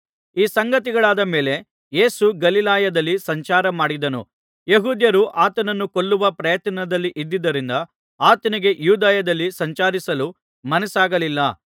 ಈ ಸಂಗತಿಗಳಾದ ಮೇಲೆ ಯೇಸು ಗಲಿಲಾಯದಲ್ಲಿ ಸಂಚಾರ ಮಾಡಿದನು ಯೆಹೂದ್ಯರು ಆತನನ್ನು ಕೊಲ್ಲುವ ಪ್ರಯತ್ನದಲ್ಲಿದುದ್ದರಿಂದ ಆತನಿಗೆ ಯೂದಾಯದಲ್ಲಿ ಸಂಚರಿಸಲು ಮನಸ್ಸಾಗಲಿಲ್ಲ